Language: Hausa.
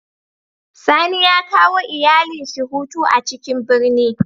Sani ya kawo iyalin shi hutu a ciƙin birni.